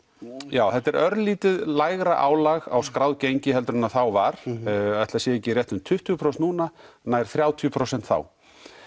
já þetta er örlítið lægra álag á skráð gengi en var ætli það sé ekki um tuttugu prósent núna nær þrjátíu prósent þá